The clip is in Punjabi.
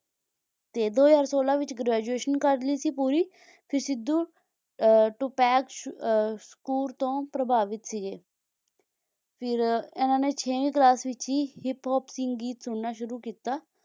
ਦੋ ਹਜ਼ਾਰ ਸੋਲਾਂਦੇ ਵਿੱਚ graduation ਕਰ ਲਈ ਸੀ ਪੂਰੀ ਫੇਰ ਸਿੱਧੂ ਟੂ ਪੈਕ ਸ਼ਕੂਰ ਤੋਂ ਪ੍ਰਭਾਵਿਤ ਸੀਗੇ ਫਿਰ ਇਨ੍ਹਾਂ ਨੇ ਛੇਵੀਂ ਕਲਾਸ ਵਿਚ ਹੀ ਹਿਪ ਹੋਪ ਸੰਗੀਤ ਸੁਣਨਾ ਸ਼ੁਰੂ ਕੀਤਾ